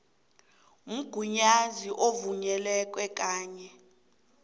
mgunyazi ovunyelweko kanye